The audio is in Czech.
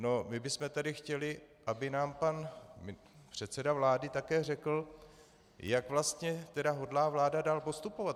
No, my bychom tady chtěli, aby nám pan předseda vlády také řekl, jak vlastně tedy hodlá vláda dále postupovat.